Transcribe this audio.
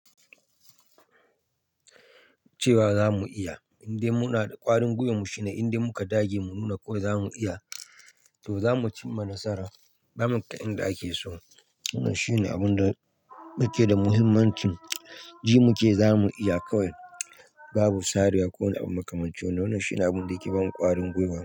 Cewa za mu iya, indai muna da ƙwarin gwiwan mu shine, indai muka dage mu nuna kawai mu iya to za mu cimma nasara. Ba maka inda ake so. Wannan shine abin da muke da muhimmancin ji muke, za mu iya kawai babu sarewa ko wani abu makaman cin. Wannan shine abin da yake bani ƙwarin gwiwa.